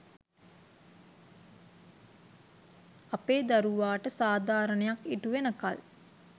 අපේ දරුවාට සාධාරණයක් ඉටු වෙනකල්